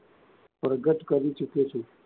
પ્રગટ કરી ચૂક્યો છું.